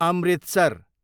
Amritsar